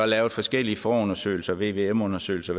lavet forskellige forundersøgelser vvm undersøgelser